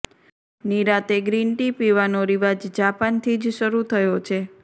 નિરાંતે green tea પીવાનો રિવાજ જાપાનથી જ શરૃ થયો છે